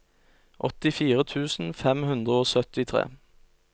åttifire tusen fem hundre og syttitre